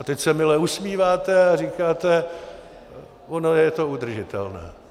A teď se mile usmíváte a říkáte: ono je to udržitelné.